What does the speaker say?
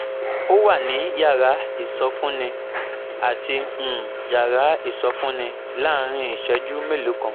ó wà ní yàrá ìsọfúnni àti um yàrá ìsọfúnni láàárín ìṣẹ́jú mélòó kan